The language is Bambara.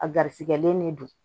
A garisigɛlen de don